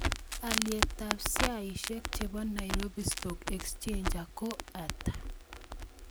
Alyetap sheaisiek che po Nairobi stock exchanger ko ata